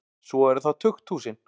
Svo eru það tukthúsin.